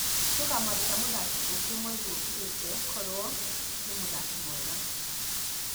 Nĩ tũkamwandika mũthaki ũngĩ mweri wũkĩte koro nĩ mũthaki mwega